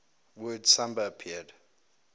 word samba appeared